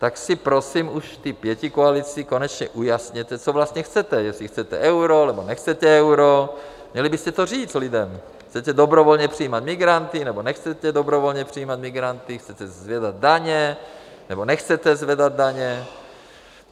Tak si prosím už v té pětikoalici konečně ujasněte, co vlastně chcete, jestli chcete euro, nebo nechcete euro, měli byste to říct lidem, Chcete dobrovolně přijímat migranty, nebo nechcete dobrovolně přijímat migranty, chcete zvedat daně, nebo nechcete zvedat daně?